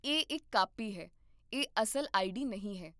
ਇਹ ਇੱਕ ਕਾਪੀ ਹੈ, ਇਹ ਅਸਲ ਆਈਡੀ ਨਹੀਂ ਹੈ